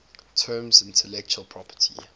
term intellectual property